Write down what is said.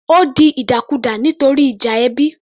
Ó di ìdàkudà nítorí ìjà ẹbí